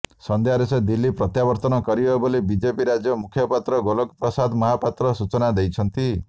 ସନ୍ଧ୍ୟାରେ ସେ ଦିଲ୍ଲୀ ପ୍ରତ୍ୟାବର୍ତ୍ତନ କରିବେ ବୋଲି ବିଜେପି ରାଜ୍ୟ ମୁଖପାତ୍ର ଗୋଲକ ପ୍ରସାଦ ମହାପାତ୍ର ସୂଚନା ଦେଇଛନ୍ତି